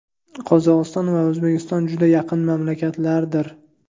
Qozog‘iston va O‘zbekiston juda yaqin mamlakatlardir.